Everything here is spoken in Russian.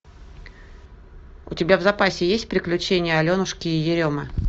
у тебя в запасе есть приключения аленушки и еремы